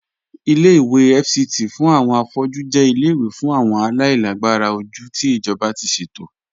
Ìlẹ̀-ìwé FCT fún awọn afọ̀jú jẹ̀ ìlẹ̀-ìwé fún awọn aláìlàgbàrà ojú tí ijọba ti ṣetò.